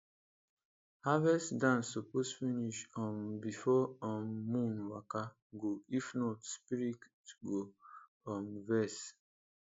harvest dance suppose finish um before um moon waka go if not spirit go um vex